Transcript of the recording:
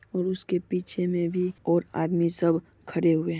और उसके पीछे मे भी और आदमी सब खड़े हुए है।